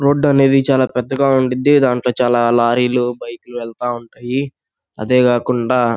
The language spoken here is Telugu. రోడ్ అనేది చాలా పెద్దగా ఉండుద్ది. దాంట్లో చాలా లారీలు బైక్ లు వెళ్తా ఉంటాయి. అదే కాకుండా--